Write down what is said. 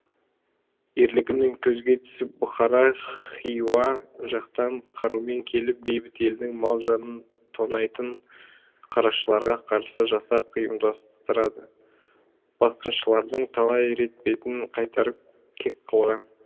ерлігімен көзге түсіп бұхара хиуа жақтан қарумен келіп бейбіт елдің мал жанын тонайтын қарақшыларға қарсы жасақ ұйымдастырады басқыншылардың талай рет бетін қайтарып кек алған